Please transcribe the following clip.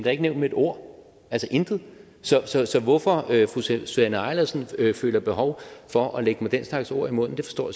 er ikke nævnt med et ord altså intet så så hvorfor fru susanne eilersen føler behov for at lægge mig den slags ord i munden forstår